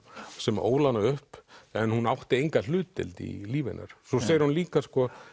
sem ól hana upp en hún átti enga hlutdeild í lífi hennar svo segir hún líka